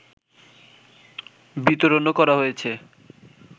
বিতরণও করা হয়েছে